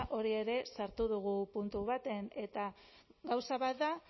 hori ere sartu dugu puntu batean eta gauza bat da